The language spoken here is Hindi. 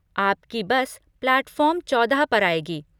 आपकी बस प्लैटफॉर्म चौदह पर आएगी।